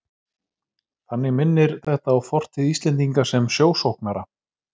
Þannig minnir þetta á fortíð Íslendinga sem sjósóknara.